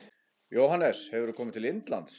Jóhannes: Hefurðu komið til Indlands?